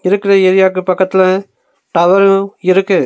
இருக்கற ஏரியாக்கு பக்கத்துல டவரு இருக்கு.